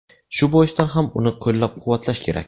Shu boisdan ham uni qo‘llab-quvvatlash kerak.